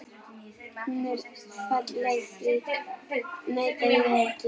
Hún er falleg, því neita ég ekki.